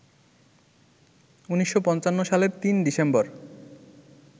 ১৯৫৫ সালের ৩ ডিসেম্বর